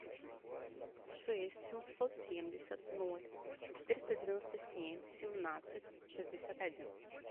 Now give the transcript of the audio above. шесть семьсот семьдесят ноль четыреста девяносто семь семнадцать шестьдесят один